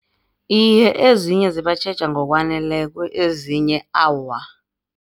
Iye, ezinye zibatjheja ngokwaneleko ezinye, awa.